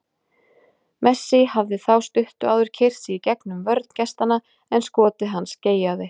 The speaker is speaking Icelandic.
Messi hafði þá stuttu áður keyrt sig í gegnum vörn gestanna, en skot hans geigaði.